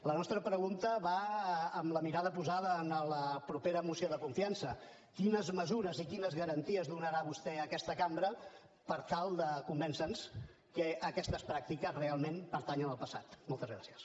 la nostra pregunta va amb la mirada posada en la propera moció de confiança quines mesures i quines garanties donarà vostè a aquesta cambra per tal de convèncernos que aquestes pràctiques realment pertanyen al passat moltes gràcies